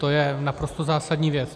To je naprosto zásadní věc.